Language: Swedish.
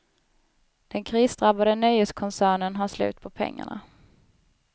Den krisdrabbade nöjeskoncernen har slut på pengarna.